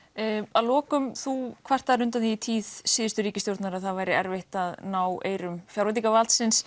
að lokum þú kvartar undan því að í tíð síðustu ríkisstjórnar væri erfitt að ná eyrum fjárveitingarvaldsins